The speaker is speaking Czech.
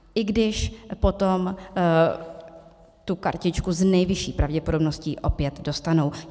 I když potom tu kartičku s nejvyšší pravděpodobností opět dostanou.